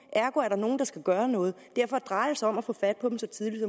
ergo er der nogen der skal gøre noget derfor drejer det sig om at få fat på dem så tidligt